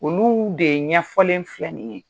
Olu de ɲɛfɔlen filɛ nin ye